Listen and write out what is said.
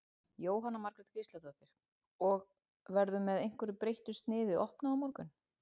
Jóhanna Margrét Gísladóttir: Og, verður með einhverju breyttu sniði opnað á morgun?